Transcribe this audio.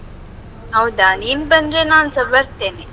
ಹೌದಾ? ನೀನು ಬಂದ್ರೆ ನಾನ್ಸ ಬರ್ತೇನೆ.